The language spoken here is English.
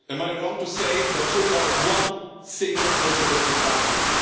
Am I wrong in saying that so far one single project has been financed?